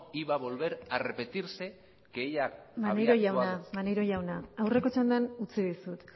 iba a volver a repetirse que ella maneiro jauna aurreko txandan utzi dizut